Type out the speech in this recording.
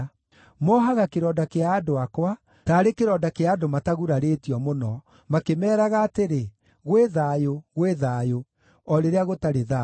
Mohaga kĩronda kĩa andũ akwa taarĩ kĩronda kĩa andũ matagurarĩtio mũno, makĩmeeraga atĩrĩ: ‘Gwĩ thayũ, gwĩ thayũ,’ o rĩrĩa gũtarĩ thayũ.